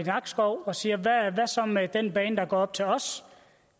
nakskov og siger hvad så med den bane der går op til os